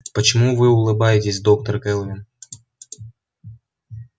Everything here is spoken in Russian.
почему вы улыбаетесь доктор кэлвин